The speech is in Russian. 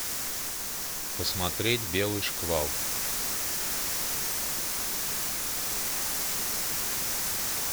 посмотреть белый шквал